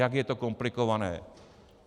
Jak je to komplikované.